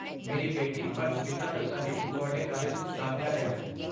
ਮੇਰੀ ਬੇਟੀ ਪਰਸ਼ਮਿਤਾ ਦੱਤਾ ਨੇ ਤੁਹਾਡੇ ਕਾਲਜ ਵਿੱਚ ਦਾਖਲਾ ਲਿਆ ਹੈ।